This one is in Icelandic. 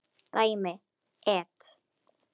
Dæmi: et.